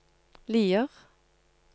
Lier